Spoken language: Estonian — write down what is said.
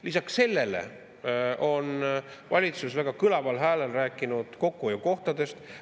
Lisaks sellele on valitsus väga kõlaval häälel rääkinud kokkuhoiukohtadest.